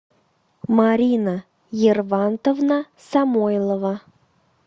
марина ервантовна самойлова